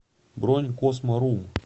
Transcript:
бронь космо рум